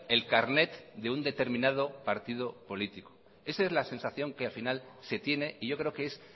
el carnet de un determinado partido político esa es la sensación que al final se tiene y yo creo que es